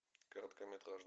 короткометражный